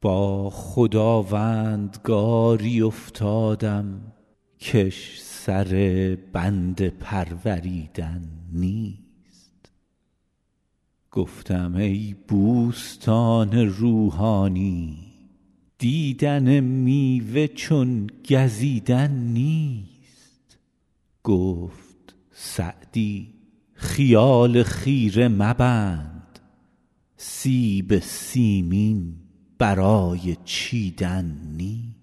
با خداوندگاری افتادم کش سر بنده پروریدن نیست گفتم ای بوستان روحانی دیدن میوه چون گزیدن نیست گفت سعدی خیال خیره مبند سیب سیمین برای چیدن نیست